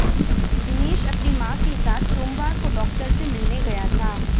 दिनेश अपनी मां के साथ सोमवार को डॉक्टर से मिलने गया था